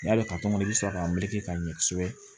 N'i y'a dɔn i bɛ sɔrɔ ka meleke ka ɲɛ kosɛbɛ